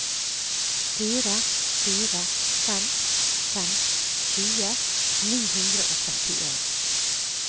fire fire fem fem tjue ni hundre og trettien